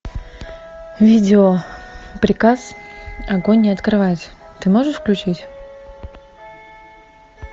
видео приказ огонь не открывать ты можешь включить